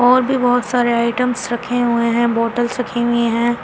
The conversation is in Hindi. और भी बहुत सारे आइटम्स रखे हुए हैं बोतल्स रखी हुई हैं।